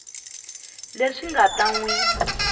leswi nga ta n wi